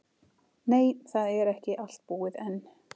Nei, það er ekki allt búið enn.